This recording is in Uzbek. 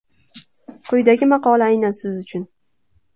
Quyidagi maqola aynan siz uchun.